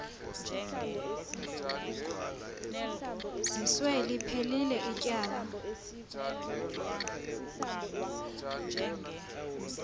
zizwe liphelil ityala